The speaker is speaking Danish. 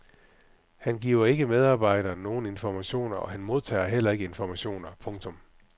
Han giver ikke medarbejderne nogen informationer og han modtager heller ikke informationer. punktum